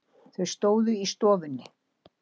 Þau stóðu í stofunni.